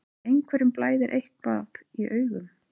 Einhverjum blæðir eitthvað í augum